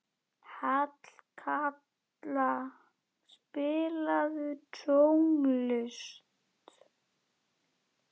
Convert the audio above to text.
Hallkatla, spilaðu tónlist.